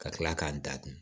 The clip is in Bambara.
Ka kila k'a datugu